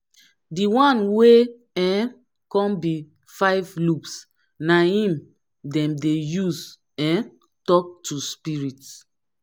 di one wey um kon bi five lobes na em dem dey use um tok to spirit